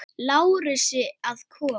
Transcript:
Lárusi að koma.